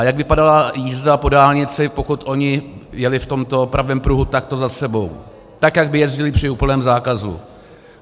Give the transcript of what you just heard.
A jak vypadala jízda po dálnici, pokud oni jeli v tomto pravém pruhu takto za sebou, tak jak by jezdili při úplném zákazu?